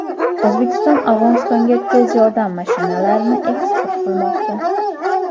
O‘zbekiston Afg‘onistonga tez yordam mashinalarini eksport qilmoqda.